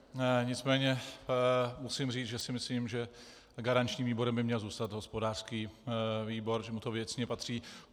Nicméně musím říct, že si myslím, že garančním výborem by měl zůstat hospodářský výbor, že mu to věcně patří.